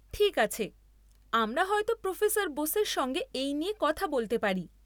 ঠিক আছে, আমরা হয়ত প্রোফেসর বোসের সঙ্গে এই নিয়ে কথা বলতে পারি।